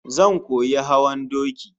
Zan koyi hawan doki